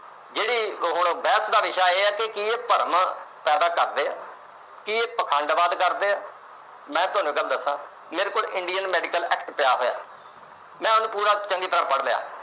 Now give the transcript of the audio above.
ਜਿਹੜੇ ਹੁਣ ਬਹਿਸ ਦਾ ਵਿਸ਼ਾ ਇਹ ਹੈ ਕਿ ਇਹ ਭਰਮ ਪੈਦਾ ਕਰਦੇ ਆ, ਕਿ ਇਹ ਪਾਖੰਡਵਾਦ ਕਰਦੇ ਆ ਤੇ ਮੈਂ ਤੁਹਾਨੂੰ ਇੱਕ ਗੱਲ ਦੱਸਾ, ਮੇਰੇ ਕੋਲ Indian Medical Act ਪਿਆ ਹੋਇਆ। ਮੈਂ ਉਹਨੂੰ ਪੂਰਾ ਚੰਗੀ ਤਰ੍ਹਾਂ ਪੜ੍ਹ ਲਿਆ।